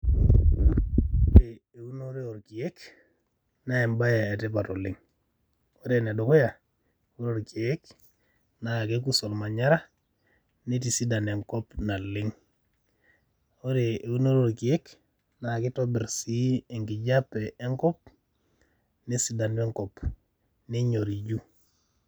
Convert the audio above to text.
Ore eunoto oo ilkiek naa ebaye e tipat oleng. Ore ene dukuya, ore ilkiek naa kekus olmanyara neitisidan enkop naleng. Ore eunoto oo ilkiek naa kitobirr sii enkijape enkop nesidanu enkop, nenyoriju.